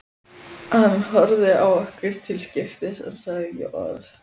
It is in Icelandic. Hann horfði á okkur til skiptis en sagði ekki orð.